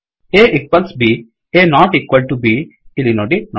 A equals B A not equal to B ಇಲ್ಲಿ ನೋಡಿ